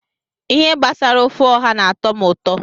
Ihe gbasara ofe ọha n'atọ m ụtọ